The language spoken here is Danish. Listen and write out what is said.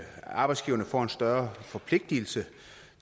arbejdsgiverne får en større forpligtelse